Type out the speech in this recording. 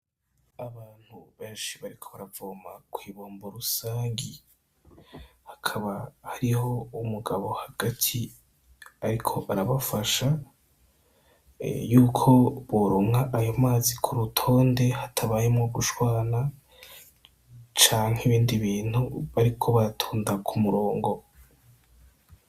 Abantu benshi bariko baravoma kw'ibombo rusangi, hakaba hariho umugabo hagati ariko arabafasha yuko boronka ayo mazi ku rutonde hatabayemwo gushwana canke ibindi bintu bariko baratonda ku murongo.